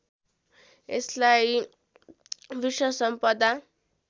यसलाई विश्व सम्पदा